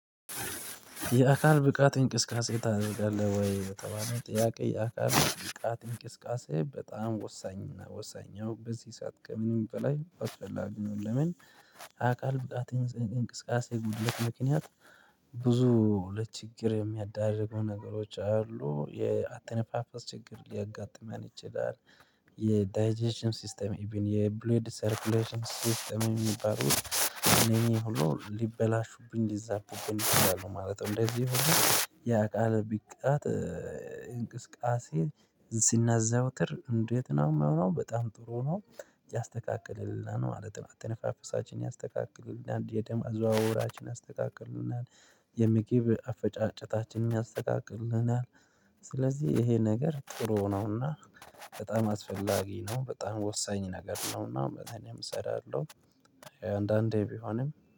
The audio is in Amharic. የአካል ብቃት እንቅስቃሴ ታደርጋለህ ወይ? በተባለው ጥያቄ የአካል ብቃት እንቅስቃሴ በጣም ወሳኝ እና ወሳኝ ያው በዚህ ሰዓት ከምንም በላይ አስፈላጊ ነው። ለምን የአካል ብቃት እንቅስቃሴ ጉድለት ምክንያት። ብዙ ለችግር የሚያዳርጉ ነገሮች አሉ የአተነፋፈስ ችግር ሊያጋጥመን ይችላል። የዳጀሽን ሲስተም ኢቭን የብሎይድ ሰርክሌሽን ሲስተም የሚባሉት እኔ ሁሉ ሊበላሹብኝ ሊዛቡብኝ ይችላሉ ማለት ነው። እንደዚህ የአካል ብቃት እንቅስቃሴ ስናዘውትር እንዴት ነው የሚሆነው በጣም ጥሩ ነው። ያስተካክልልና ማለት ነው አተነፋፈሳችን ያስተካክልልና የደም አዘዋወራችን ያስተካክልልናል። የምግብ አፈጫጨታችን ያስተካክልልናል። ስለዚህ ይሄ ነገር ጥሩ ነውና በጣም አስፈላጊ ነው በጣም ወሳኝ ነገር ነውና እኔም እሰራለሁ። አንዳንዴ ቢሆንም